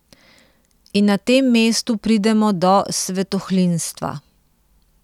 In na tem mestu pridemo do svetohlinstva.